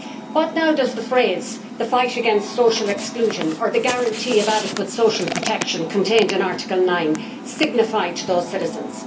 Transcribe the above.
What now do the phrases the fight against social exclusion' or the guarantee of adequate social protection' contained in Article 9 signify to those citizens?